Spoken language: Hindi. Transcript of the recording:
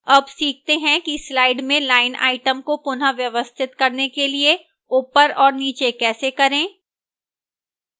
अब सीखते हैं कि slide में line item को पुनःव्यवस्थित करने के लिए ऊपर और नीचे कैसे करें